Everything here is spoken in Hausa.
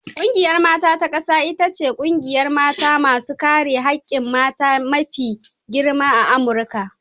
Ƙungiyar mata ta ƙasa ita ce ƙungiyar mata masu kare hakkin mata mafi girma a Amurika.